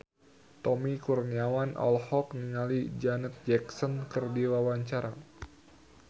Tommy Kurniawan olohok ningali Janet Jackson keur diwawancara